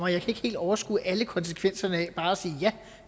ikke helt overskue alle konsekvenserne af bare at sige